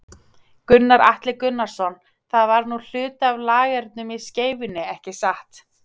Gunnar Atli Gunnarsson: Það var nú hluti af lagernum í Skeifunni, ekki satt?